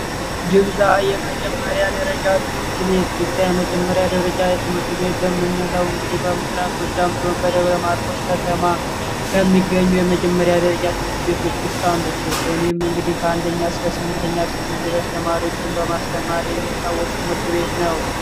ድብዛ የመጀመሪያ ደረጃ ትምህርት ቤት፦ ደብዛ የመጀመሪያ ደረጃ ትምህርት ቤት የምንለው በምስራቅ ጎጃም ዞን በደብረ ማርቆስ ከተማ ከሚገኙ የመጀመሪያ ደረጃ ትምህርት ቤቶች ውስጥ አንዱ ሲሆን ይህ እንግዲህ ከአንደኛ እስከ ስምንተኛ ክፍል ድረስ ተማሪዎችን በማስተማር የሚታወቅ ትምህርት ቤት ነው።